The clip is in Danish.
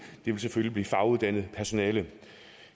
ville selvfølgelig blive faguddannet personale